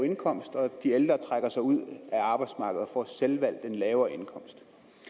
indkomst og de ældre trækker sig ud af arbejdsmarkedet og får selvvalgt lavere indkomst